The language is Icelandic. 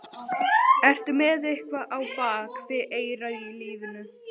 Ertu með eitthvað á bak við eyrað í lífinu?